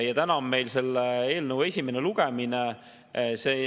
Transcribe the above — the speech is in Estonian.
Täna on meil selle eelnõu esimene lugemine.